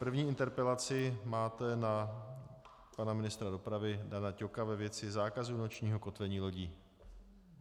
První interpelaci máte na pana ministra dopravy Dana Ťoka ve věci zákazu nočního kotvení lodí.